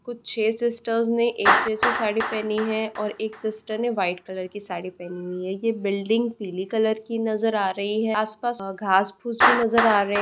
कुछ छे सिस्टरस ने एक जैसी साड़ी पहनी है और एक सिस्टर ने वाइट कलर की साड़ी पहनी हुई है ये बिल्डिंग पीले कलर की नजर आ रही है आसपास घांस फूस भी नजर आ रहें हैं।